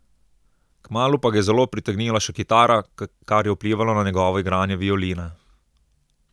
Kmalu pa ga je zelo pritegnila še kitara, kar je vplivalo na njegovo igranje violine.